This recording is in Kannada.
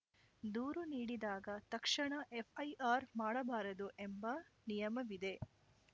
ದೂರು ನೀಡಿದಾಗ ತಕ್ಷಣ ಎಫ್‌ಐಆರ್‌ ಮಾಡಬಾರದು ಎಂಬ ನಿಯಮವಿದೆ